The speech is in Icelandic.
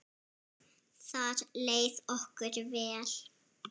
Þar leið okkur vel.